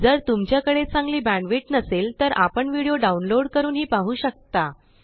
जर तुमच्याकडे चांगली बेंड विड्थ नसेल तर आपण विडिओ डाउनलोड करूनही पाहु शकता